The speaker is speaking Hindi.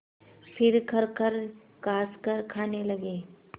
फिर खरखर खाँसकर खाने लगे